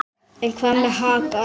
En hvað með Haga?